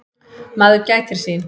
Maður gætir sín.